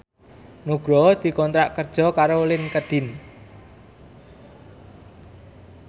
Nugroho dikontrak kerja karo Linkedin